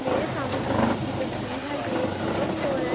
معرع سامنع جیس چیز کی تاسطعر حای، ےع عک سپر اسٹور حای۔.